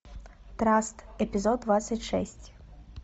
траст эпизод двадцать шесть